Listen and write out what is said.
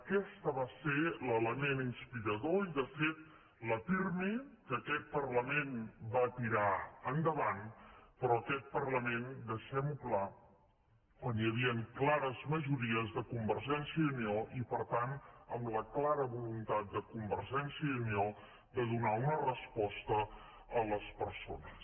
aquest va ser l’element inspirador i de fet la pirmi que aquest parlament va tirar endavant però aquest parlament deixem ho clar quan hi havien clares majories de convergència i unió i per tant amb la clara voluntat de convergència i unió de donar una resposta a les persones